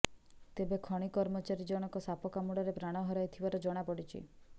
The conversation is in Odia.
ତେବେ ଖଣି କର୍ମଚାରୀ ଜଣକ ସାପ କାମୁଡ଼ାରେ ପ୍ରାଣ ହରାଇଥିବାର ଜଣାପଡ଼ିଛି